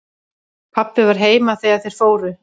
Pabbi var heima þegar þeir fóru.